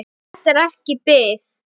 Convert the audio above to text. Þetta er ekki bið.